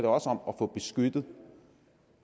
også om at få beskyttet